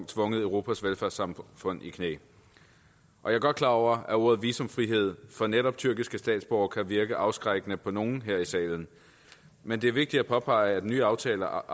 tvunget europas velfærdssamfund i knæ jeg er godt klar over at ordet visumfrihed for netop tyrkiske statsborgere kan virke afskrækkende på nogle her i salen men det er vigtigt at påpege at nye aftaler